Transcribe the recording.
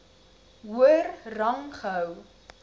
hoër rang gehou